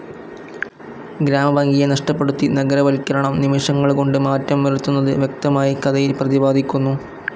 ഗ്രാമഭംഗിയെ നഷ്ടപ്പെടുത്തി നഗരവൽകരണം നിമിഷങ്ങൾ കൊണ്ട് മാറ്റം വരുത്തുന്നത് വ്യക്തമായി കഥയിൽ പ്രതിപാദിക്കുന്നു.